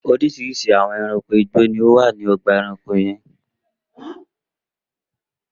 Oríṣiríṣi àwọn ẹranko igbó ni ó wà ní ọgbà-ẹranko yẹn.